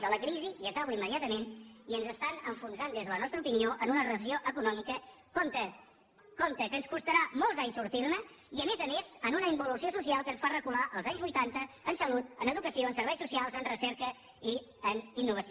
de la crisi i acabo immediatament i ens estan enfonsant des de la nostra opinió en una recessió econòmica compte compte que ens costarà molts anys sortir ne i a més a més en una involució social que ens fa recular als anys vuitanta en salut en educació en serveis socials en recerca i en innovació